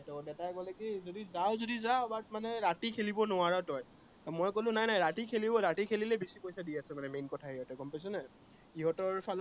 দেতাই কলে কি যদি যাৱ যদি যা, but মানে কি ৰাতি খেলিব নোৱাৰ তই, মই কলো নাই নাই, ৰাতি খেলিব, ৰাতি খেলিলে বেছি পইচা দি আছে main কথা সিহঁতে গম পাইছ নাই? সিহঁতৰ ফালৰ